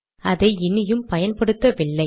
அதை இனியும் பயன்படுத்தவில்லை